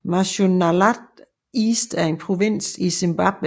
Mashonaland East er en provins i Zimbabwe